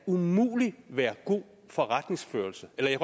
umuligt være god forretningsførelse jeg